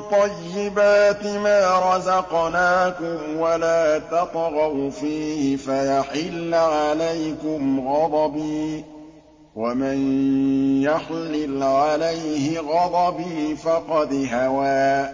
طَيِّبَاتِ مَا رَزَقْنَاكُمْ وَلَا تَطْغَوْا فِيهِ فَيَحِلَّ عَلَيْكُمْ غَضَبِي ۖ وَمَن يَحْلِلْ عَلَيْهِ غَضَبِي فَقَدْ هَوَىٰ